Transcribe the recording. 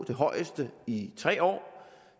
det højeste i tre år